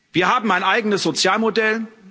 Wir haben ein eigenes Sozialmodell.